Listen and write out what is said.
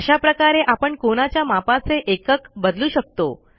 अशा प्रकारे आपण कोनाच्या मापाचे एकक बदलू शकतो